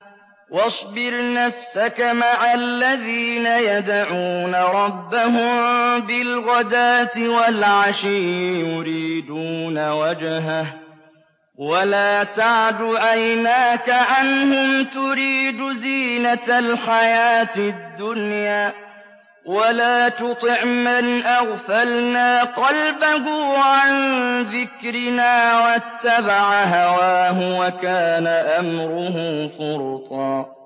وَاصْبِرْ نَفْسَكَ مَعَ الَّذِينَ يَدْعُونَ رَبَّهُم بِالْغَدَاةِ وَالْعَشِيِّ يُرِيدُونَ وَجْهَهُ ۖ وَلَا تَعْدُ عَيْنَاكَ عَنْهُمْ تُرِيدُ زِينَةَ الْحَيَاةِ الدُّنْيَا ۖ وَلَا تُطِعْ مَنْ أَغْفَلْنَا قَلْبَهُ عَن ذِكْرِنَا وَاتَّبَعَ هَوَاهُ وَكَانَ أَمْرُهُ فُرُطًا